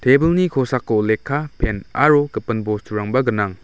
tebilni kosako lekka pen aro gipin bosturangba gnang.